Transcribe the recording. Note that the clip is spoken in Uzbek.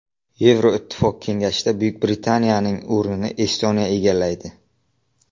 Yevroittifoq Kengashida Buyuk Britaniyaning o‘rnini Estoniya egallaydi.